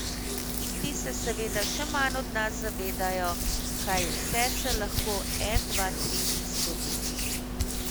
In ti se seveda še manj od nas zavedajo, kaj vse se lahko en, dva, tri zgodi.